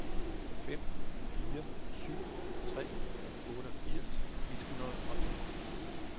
fem fire syv tre otteogfirs et hundrede og en